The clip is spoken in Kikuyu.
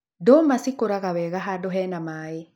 Ndũma cikũraga wega handũ hena maĩ.